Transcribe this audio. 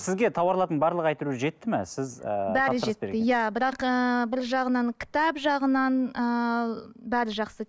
сізге тауарлардың барлығы әйтеуір жетті ме сіз ііі бәрі жетті иә бірақ ыыы бір жағынан кітап жағынан ыыы бәрі жақсы